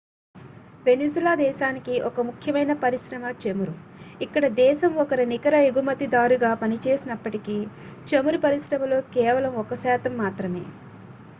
Venezuela దేశానికి ఒక ముఖ్యమైన పరిశ్రమ చమురు ఇక్కడ దేశం ఒక నికర ఎగుమతిదారుగా పనిచేసినప్పటికీ చమురు పరిశ్రమలో కేవలం ఒక శాతం మాత్రమే